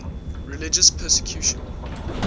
religious persecution